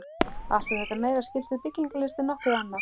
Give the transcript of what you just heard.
Allt á þetta meira skylt við byggingalist en nokkuð annað.